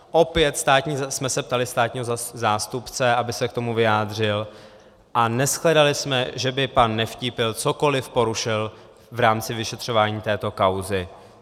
Opět jsme se ptali státního zástupce, aby se k tomu vyjádřil, a neshledali jsme, že by pan Nevtípil cokoliv porušil v rámci vyšetřování této kauzy.